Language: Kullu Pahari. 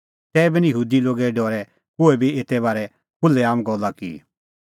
तैबी निं यहूदी लोगे डरै कोही बी एते बारै खुल्है आम गल्ला की